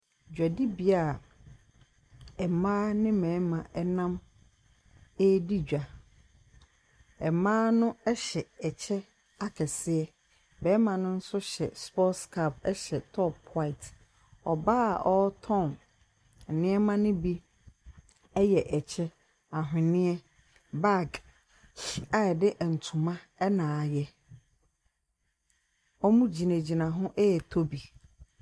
Dwadibea a mmaa ne mmarima nam redi dwa. Mmaa no hyɛ ɛkyɛ akyɛseɛ. Barima no nso hyɛ sports cap hyɛ top white. Ɔbaa a ɔretɔn nneɛma no bi yɛ ɛkyɛ, ahweneɛ bag, a wɔde ntoma ɛna ayɛ. Wɔgyinagyina ho retɔ bi.